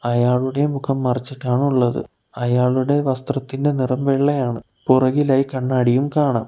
അയാളുടെ മുഖം മറച്ചിട്ടാണുള്ളത് അയാളുടെ വസ്ത്രത്തിന്റെ നിറം വെള്ളയാണ് പുറകിലായി കണ്ണാടിയും കാണാം.